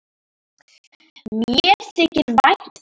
Mér þykir vænt um